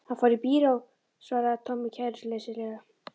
Hann fór í bíó svaraði Tommi kæruleysislega.